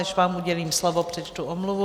Než vám udělím slovo, přečtu omluvu.